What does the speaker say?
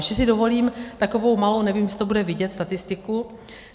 Ještě si dovolím takovou malou - nevím, jestli to bude vidět - statistiku.